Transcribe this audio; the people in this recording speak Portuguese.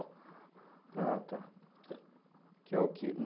Ah, tá. Que é o que